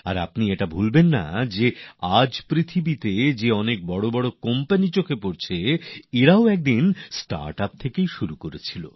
আর আপনারা একথা ভুলবেন না যে আজ বিশ্বে যেসব বড় বড় কোম্পানি দেখা যায় এইগুলিও কখনও স্টার্ট আপ কোম্পানিই ছিল